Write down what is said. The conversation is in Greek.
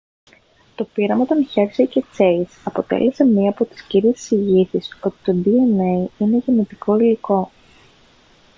το πείραμα των hersey και chase αποτέλεσε μια από τις κύριες εισηγήσεις ότι το dna είναι γενετικό υλικό